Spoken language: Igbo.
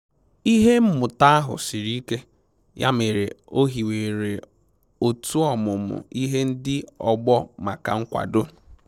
Ihe mmụta ahụ siri ike, ya mere o hiwere otu ọmụmụ ihe ndị ọgbọ maka nkwado